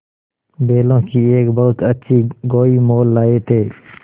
बैलों की एक बहुत अच्छी गोई मोल लाये थे